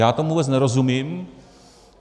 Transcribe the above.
Já tomu vůbec nerozumím.